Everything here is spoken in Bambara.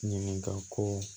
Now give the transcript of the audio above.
Ɲininka ko